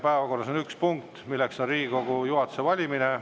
Päevakorras on üks punkt, mis on Riigikogu juhatuse valimine.